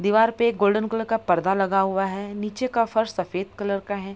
दिवार पे एक गोल्डन कलर का पर्दा लगा हुआ है नीचे का फर्श सफेद कलर का है।